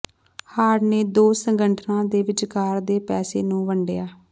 hard ਨੇ ਦੋ ਸੰਗਠਨਾਂ ਦੇ ਵਿਚਕਾਰ ਦੇ ਪੈਸੇ ਨੂੰ ਵੰਡਿਆ